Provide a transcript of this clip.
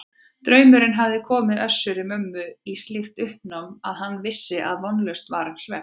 Draumurinn hafði komið Össuri-Mömmu í slíkt uppnám að hann vissi að vonlaust var um svefn.